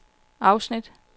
afsnit